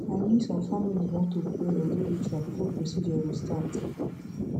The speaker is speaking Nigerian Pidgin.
i min some familiz wan to pray or do ritual before procedure go start